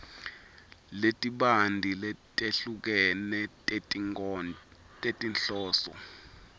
letibanti letehlukene tetinhloso